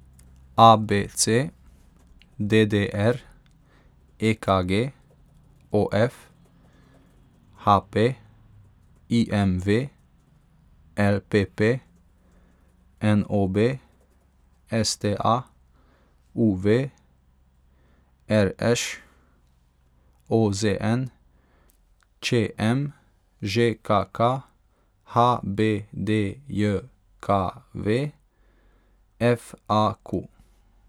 A B C; D D R; E K G; O F; H P; I M V; L P P; N O B; S T A; U V; R Š; O Z N; Č M; Ž K K; H B D J K V; F A Q.